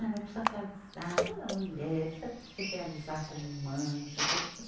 Ah, mas precisa casar toda mulher, precisa se realizar como mãe, não sei o quê.